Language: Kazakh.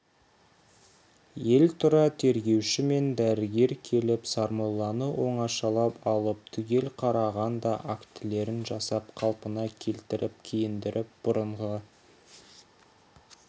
ел тұра тергеуші мен дәрігер келіп сармолланы оңашалап алып түгел қараған да актілерін жасап қалпына келтіріп киіндіріп бұрынғы